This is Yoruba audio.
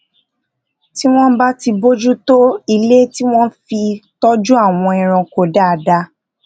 tí wón bá bójú tó ilé tí wón fi tójú àwọn ẹranko dáadáa